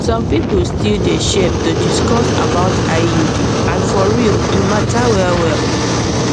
some people still dey shame to discuss about iud and for real e matter well well